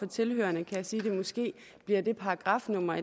tilhørerne kan jeg sige at det måske bliver det paragrafnummer